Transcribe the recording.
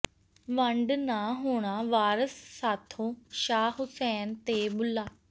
ਵੰਡ ਨਾ ਹੋਣਾ ਵਾਰਸ ਸਾਥੋਂ ਸ਼ਾਹ ਹੁਸੈਨ ਤੇ ਬੁਲ੍ਹਾ